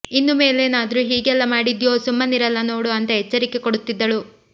ಇನ್ನು ಮೇಲೇನಾದ್ರೂ ಹೀಗೆಲ್ಲ ಮಾಡಿದ್ಯೋ ಸುಮ್ಮನಿರಲ್ಲ ನೋಡು ಅಂತ ಎಚ್ಚರಿಕೆ ಕೊಡುತ್ತಿದ್ದಳು